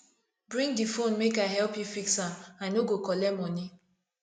bring di fone make i help you fix am i no go collect moni